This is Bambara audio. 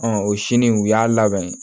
o sini u y'a labɛn